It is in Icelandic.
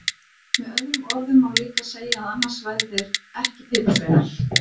Með öðrum orðum má líka segja að annars væru þeir ekki piparsveinar!